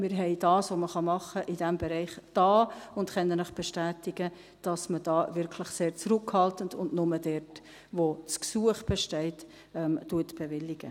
Denn wir haben das, was man in diesem Bereich tun kann, getan und können Ihnen bestätigen, dass man da wirklich sehr zurückhaltend und nur dort, wo das Gesuch besteht, bewilligt.